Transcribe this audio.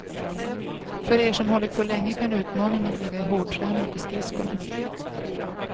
För er som hållit på länge kan utmaningen ligga i hårdträning på skridskorna.